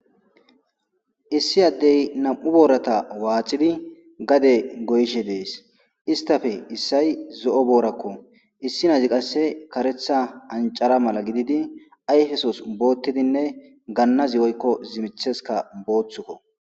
Issi addey nam'u boorata waaxidi gade goyishe Istappe issay zo'o boorako. Issay qasse kareththa anchara mala gididi ayfesos bootidinne gannazi woykko zimmithezika booththuko.